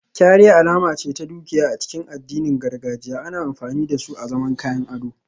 Kyare alama ce ta dukiya a cikin addinin gargajiya, ana amfani da su azaman kayan ado